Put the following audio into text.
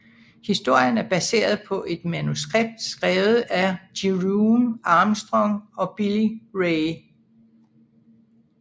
Historien er baseret på et manuskript skrevet af Jerome Armstrong og Billy Ray